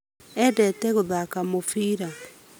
Endete gũthaka mũbira